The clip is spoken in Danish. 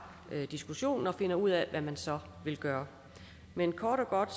diskussionen og finder ud af hvad man så vil gøre men kort og godt